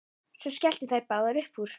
Svo skelltu þær báðar upp úr.